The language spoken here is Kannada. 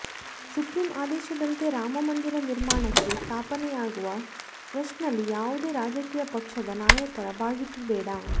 ಸುಪ್ರೀಂ ಆದೇಶದಂತೆ ರಾಮಮಂದಿರ ನಿರ್ಮಾಣಕ್ಕೆ ಸ್ಥಾಪನೆಯಾಗುವ ಟ್ರಸ್ಟ್ನಲ್ಲಿ ಯಾವುದೇ ರಾಜಕೀಯ ಪಕ್ಷದ ನಾಯಕರ ಭಾಗಿತ್ವ ಬೇಡ